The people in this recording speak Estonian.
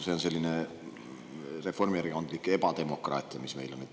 See on selline reformierakondlik ebademokraatia, mis meil on.